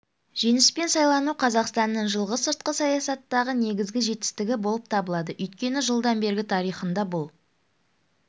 жеңіспен сайлану қазақстанның жылғы сыртқы саясаттағы негізгі жетістігі болып табылады өйткені жылдан бергі тарихында бұл